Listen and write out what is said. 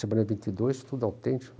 Semana de vinte e dois, tudo autêntico.